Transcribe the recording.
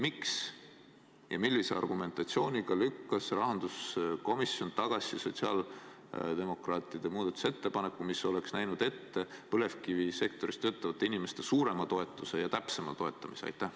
Miks ja millise argumentatsiooniga lükkas rahanduskomisjon tagasi sotsiaaldemokraatide muudatusettepaneku, mis oleks näinud ette põlevkivisektoris töötavate inimeste suurema ja täpsema toetamise?